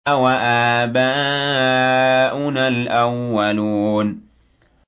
أَوَآبَاؤُنَا الْأَوَّلُونَ